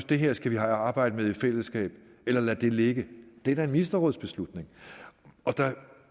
det her skal de arbejde med i fællesskab eller lade ligge det er da en ministerrådsbeslutning